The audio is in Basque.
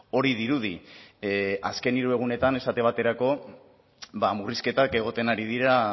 hori dirudi azken hiru egunetan esate baterako ba murrizketak egoten ari dira